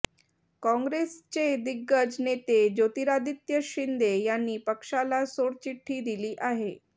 काँग्रेसचे दिग्गज नेते ज्योतिरादित्य शिंदे यांनी पक्षाला सोडचिठ्ठी दिली आहे